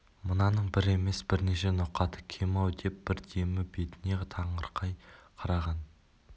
мынаның бір емес бірнеше ноқаты кем-ау деп бір демі бетіне таңырқай қараған